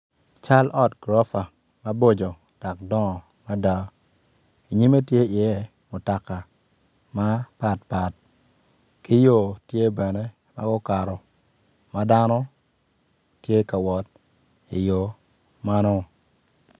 Cal ot gurofa maboco dok dongo mada nyime tye iye mutoka mapatpat ki yo tye bene ma gukato ma dano tye ka wot iyo meno.